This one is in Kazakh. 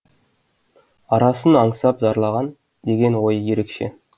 арысын аңсап зарлаған деген ойы ерекше